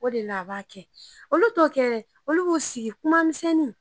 O de la a b'a kɛ, olu t'o kɛ dɛ, olu b'o sigi kuma misɛnnin